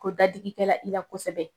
Ko dadigikɛla i la kosɛbɛ.